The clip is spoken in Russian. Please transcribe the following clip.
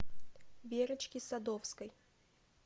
верочке садовской